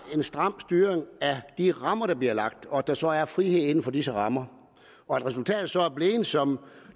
en stram styring af de rammer der bliver lagt og at der så er frihed inden for disse rammer at resultatet så er blevet det som